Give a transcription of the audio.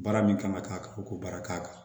Baara min kan ka k'a kan u k'o baara k'a kan